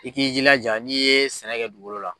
I k'i jilaja n'i ye sɛnɛ kɛ dugolo la.